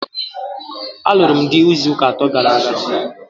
A lụrụ m dị n'izuuka atọ gara aga.